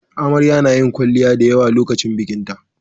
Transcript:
Amarya nayin kwalliya da yawa lokacin bikinta